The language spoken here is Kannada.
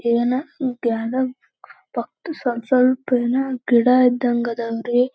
ಯೇನ ಪಕ್ಕ ಸ್ವಲ್ಪ ಸ್ವಲ್ಪ ಏನೋ ಗಿಡಾ ಇದ್ದಂಗ್ ಅದಾವ್ ರೀ-